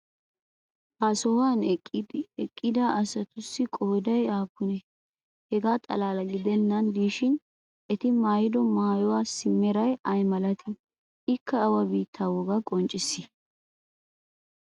ha sohuwan eqqida asatussi qooday aapunee? hegaa xalaala gidennan diishshin eti maayido maayuwassi meray ay malattii? ikka awa biittaa wogaa qonccisii?